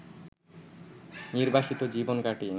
নির্বাসিত জীবন কাটিয়ে